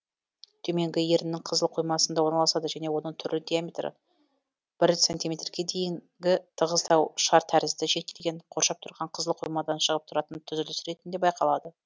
төменгі еріннің қызыл қоймасында орналасады және оның түрі диаметрі бір сантиметрге дейінгі тығыздау шар тәрізді шектелген қоршап тұрған қызыл қоймадан шығып тұратын түзіліс ретінде байқалады